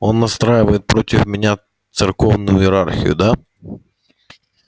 он настраивает против меня церковную иерархию да